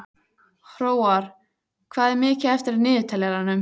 Hróar, hvað er mikið eftir af niðurteljaranum?